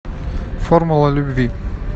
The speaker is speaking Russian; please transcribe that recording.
формула любви